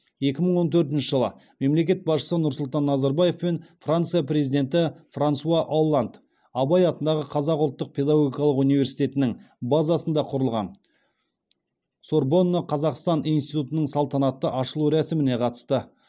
екі мың он төртінші жылы мемлекет басшысы нұрсұлтан назарбаев пен франция президенті франсуа олланд абай атындағы қазақ ұлттық педагогикалық университетінің базасында құрылған сорбонна қазақстан институтының салтанатты ашылу рәсіміне қатысты